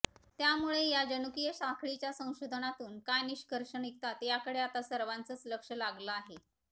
त्यामुळे या जनुकीय साखळीच्या संशोधनातून काय निष्कर्ष निघतात याकडे आता सर्वांचंच लक्ष लागलं आहे